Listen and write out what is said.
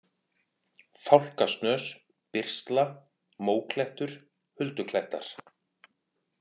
Fálkasnös, Byrsla, Móklettur, Hulduklettar